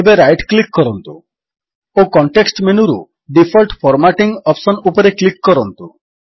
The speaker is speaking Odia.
ଏବେ ରାଇଟ୍ କ୍ଲିକ୍ କରନ୍ତୁ ଓ କଣ୍ଟେକ୍ସଟ୍ ମେନୁରୁ ଡିଫଲ୍ଟ ଫର୍ମାଟିଂ ଅପ୍ସନ୍ ଉପରେ କ୍ଲିକ୍ କରନ୍ତୁ